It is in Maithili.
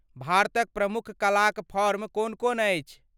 भारतक प्रमुख कला क फॉर्म कोन कोन अछि?